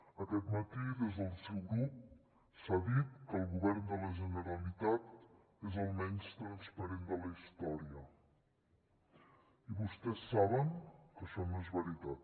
aquest matí des del seu grup s’ha dit que el govern de la generalitat és el menys transparent de la història i vostès saben que això no és veritat